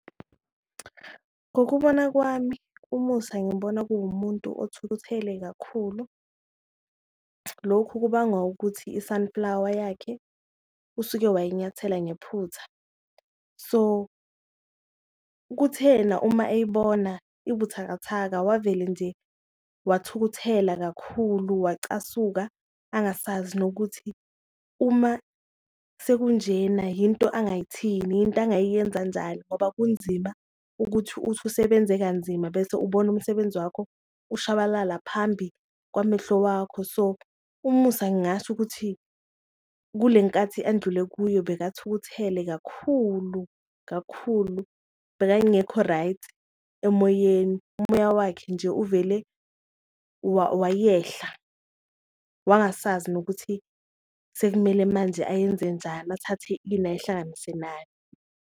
Ngokubona kwami uMusa ngimbona kuwumuntu othukuthele kakhulu lokhu kubangwa ukuthi i-sunflower yakhe usuke wayinyathela ngephutha so, kuthena uma eyibona ibuthakathaka wavele nje wathukuthela kakhulu. Wacasula angasazi nokuthi uma sekunjena yinto angayithini, into angayiyenza njani ngoba kunzima ukuthi uthi usebenze kanzima bese ubona umsebenzi wakho ushabalala phambi kwamehlo wakho. So, uMusa ngingasho ukuthi kule nkathi andlule kuyo bekathukuthele kakhulu kakhulu bekangekho-right emoyeni, umoya wakhe nje uvele wayehla wangasazi nokuthi sekumele manje ayenze njani, athathe ini ayihlanganise nani.